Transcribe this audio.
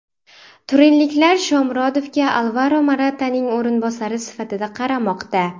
Turinliklar Shomurodovga Alvaro Morataning o‘rinbosari sifatida qaramoqda.